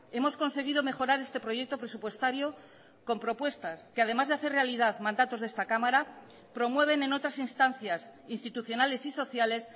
hemos conseguido mejorar este proyecto presupuestario con propuestas que además de hacer realidad mandatos de esta cámara promueven en otras instancias institucionales y sociales